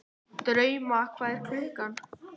Drauma, hvað er klukkan?